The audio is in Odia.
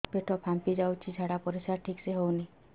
ପେଟ ଫାମ୍ପି ଯାଉଛି ଝାଡ଼ା ପରିସ୍ରା ଠିକ ସେ ହଉନି